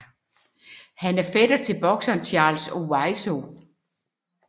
Han er fætter til bokseren Charles Owiso